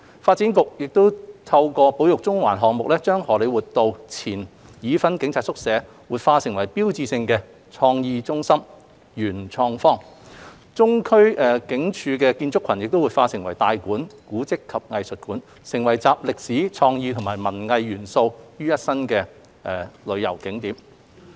發展局亦透過"保育中環"項目，將荷李活道前已婚警察宿舍活化為標誌性的創意中心 ―PMQ 元創方，中區警署建築群亦活化為"大館―古蹟及藝術館"，成為集歷史、創意及文藝元素的旅遊景點。